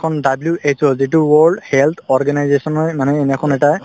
WHO যিটো world health organization য়ে মানে এটাই